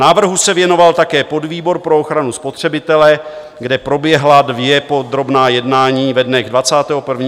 Návrhu se věnoval také podvýbor pro ochranu spotřebitele, kde proběhla dvě podrobná jednání ve dnech 21. června a 30. srpna.